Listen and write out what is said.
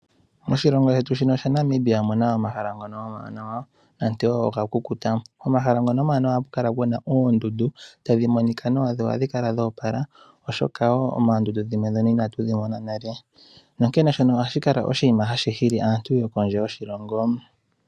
Moshilongo shetu shaNamibia omuna omahala gamwe ngono omawanawa nande okwakukuta. Komahala ngono omawanawa ohaku kala kuna oondundu tadhi monika nawa nohadhi kala dhoopala. Osho owala oondundu dhimwe inatudhi mona nale nonkele ohashi kala tashi hili aantu yokondje yoshilongo.